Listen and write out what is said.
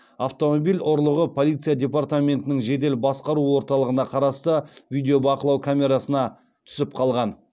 автомобиль ұрлығы полиция департаментінің жедел басқару орталығына қарасты видеобақылау камерасына түсіп қалған